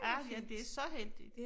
Ah ja det så heldigt